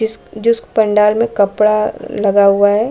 जिस पंडाल में कपड़ा लगा हुआ हैं ।